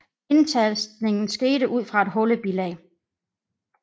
Indtastningen skete ud fra et hullebilag